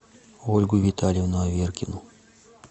ольгу витальевну аверкину